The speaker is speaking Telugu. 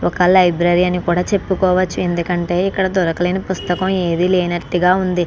ఒక లైబ్రరీ అని కూడా చెప్పవచ్చు. ఎందుకంటే ఇక్కడ దొరకలేని పుస్తకం లేనట్టుగా ఉంది.